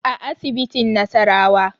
A asibitin nasarawa